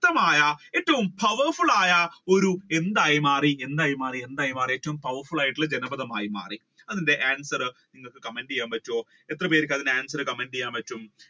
ഏറ്റവും ശക്തമായ ഏറ്റവും powerful ആയ ഒരു എന്തായി മാറി എന്തായിമാറി ഏറ്റവും ആയിട്ടുള്ള ജനപഥമായി മാറി അതിന്റെ answer നിങ്ങൾക്ക് ചെയ്യാൻ പറ്റോ എത്ര പേർക്ക് അതിന്റെ answer comment ചെയ്യാൻ